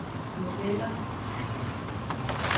modeller